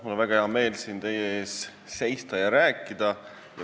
Mul on väga hea meel siin teie ees seista ja rääkida.